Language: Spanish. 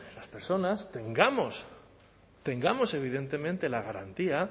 las personas tengamos evidentemente la garantía